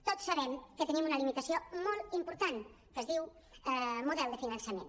tots sabem que tenim una limi·tació molt important que es diu model de finançament